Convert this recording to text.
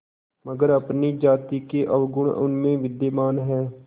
मगर अपनी जाति के अवगुण उनमें भी विद्यमान हैं